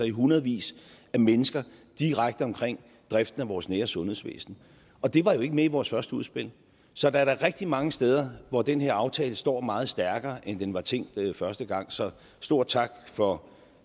i hundredvis af mennesker direkte omkring driften af vores nære sundhedsvæsen og det var jo ikke med i vores første udspil så der er da rigtig mange steder hvor den her aftale står meget stærkere end den var tænkt første gang så stor tak for